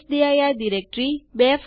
તમારા માટેના પરિણામ જુઓ